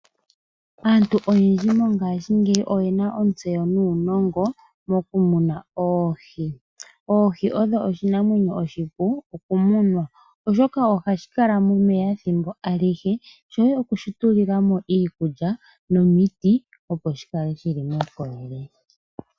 Aantu mongaashingeyi oyena ontseyo nuunongo moku muna oohi. Oohi odho oshinamwenyo oshipu okumunwa oshoka ohashi kala momeya thimbo alihe, shoye okushi tulilamo iikulya nomiti opo shikale shili muukolele.